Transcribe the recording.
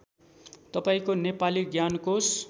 तपाईँको नेपाली ज्ञानकोश